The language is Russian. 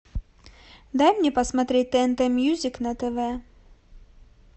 дай мне посмотреть тнт мьюзик на тв